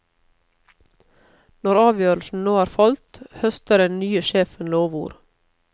Når avgjørelsen nå er falt, høster den nye sjefen lovord.